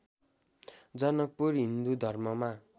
जनकपुर हिन्दू धर्ममा